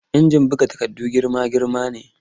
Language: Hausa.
Injin buga takarda girma-girma ne